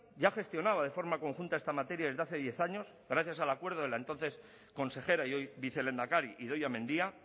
ya gestionaba de forma conjunta a esta materia desde hace diez años gracias al acuerdo de la entonces consejera y hoy vicelehendakari idoia mendia